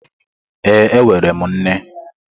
Ee e, enwere m nne.